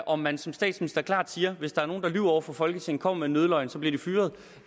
om man som statsminister klart siger hvis der er nogen der lyver over for folketinget kommer med en nødløgn så bliver de fyret